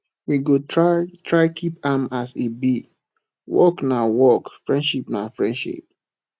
we go try try keep am as e be work na work friendship na friendship